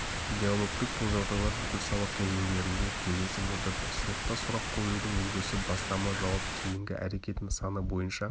диалогтік бұл жағдайлар бүкіл сабақ кезеңдерінде кездесіп отырды сыныпта сұрақ қоюдың үлгісі бастама-жауап-кейінгі әрекет нысаны бойынша